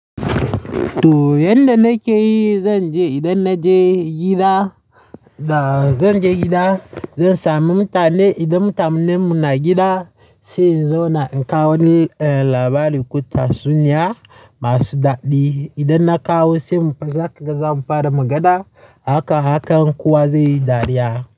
To, yanda nake yi, zan je idan na je gida, da zan je gida zan sami mutane. Idan mutanen mu na gida, sai in zo na in kawo wa labari, kuta sunnya masu daɗi. Idan na kawo sai mu fasa, zamu fara magana. Haka, hakan kowa zai yi dariya.